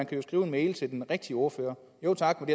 kan skrive mail til den rigtige ordfører jo tak men